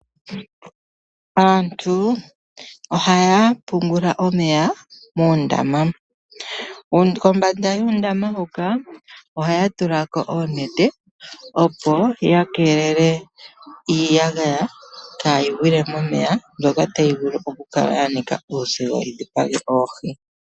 Aantu ohaya pungula omeya muundama. Kombanda yuundama hoka ohaya tula ko uunete, opo ya keelele iiyagaya, kaayi gwile momeya, mbyoka tayi vulu oku kala ya nika uuzigo yi dhipage oohi.